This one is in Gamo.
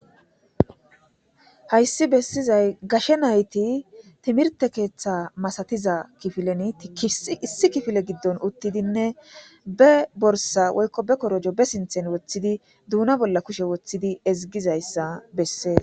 hayssi bessizay gashe nayti timirte keeththa masatiza kifilen tiki issi kifile giddon uttidinne be borsa woykko be korojo be sinthen woththidi duuna bolla kushe woththidi ezigizayssa bessee